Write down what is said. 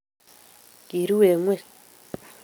Kiruu eng ingweny